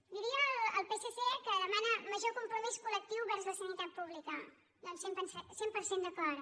diria al psc que demana major compromís colvers la sanitat pública doncs cent per cent d’acord